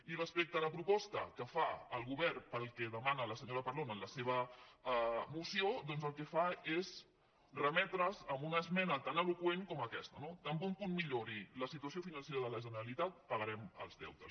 i respecte a la proposta que fa el govern per al que de·mana la senyora parlon en la seva moció doncs el que fa és remetre’s a una esmena tan eloqüent com aques·ta no tan bon punt millori la situació financera de la generalitat pagarem els deutes